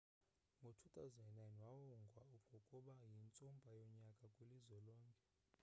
ngo-2009 wawongwa ngokuba yintsumpa yonyaka kwilizwe lonke